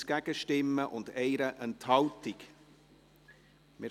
Wer die Ziffer 3 abschreiben möchte, stimmt Ja, wer dies ablehnt, stimmt Nein.